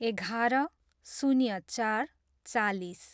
एघार, शून्य चार, चालिस